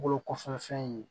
Bolo kɔfɛ fɛn ye